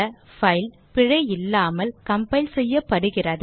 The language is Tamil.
பைல் பிழை இல்லாமல் கம்பைல் செய்யப்படுகிறது